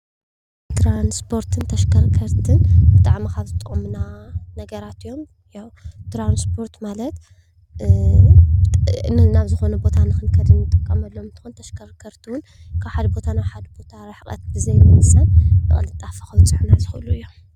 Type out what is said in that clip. ትራንስፖርትን ንተሽከርከርትን ብጣዕሚ ካብ ዝጠቅሙና ነገራት እዮም። ትራንስፖርት ማለት ናብ ዝኾነ ቦታ ንክንከድ ንጥቀመሎም እንትኾን ተሽከረከርቲ ውን ካብ ሓደ ቦታ ናብ ሓደ ቦታ ርሕቀት ብዘይ ምውሳን ብቅልጣፈ ከብፅሑልና ዝኽእሉ እዮም።